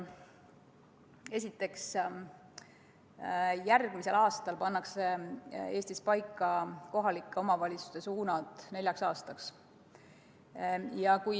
Esiteks, järgmisel aastal pannakse Eestis paika kohalike omavalitsuste suunad neljaks aastaks.